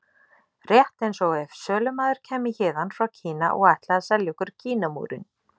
Rétt eins og ef sölumaður kæmi héðan frá Kína og ætlaði að selja okkur Kínamúrinn.